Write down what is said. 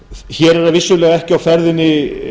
hér er vissulega ekki á ferðinni